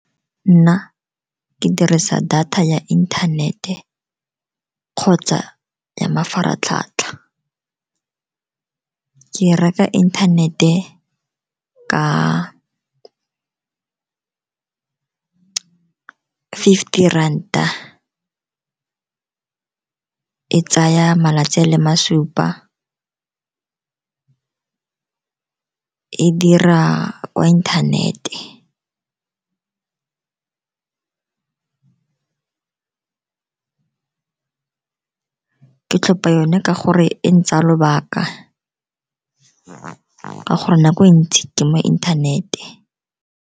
Nna ke dirisa data ya inthanete kgotsa ya mafaratlhatlha. Ke reka inthanete ka fifty ranta, e tsaya malatsi a le masupa, e dira kwa inthanete. Ke tlhopa yone ka gore e ntsaya lobaka ka gore nako e ntsi ke mo inthanete.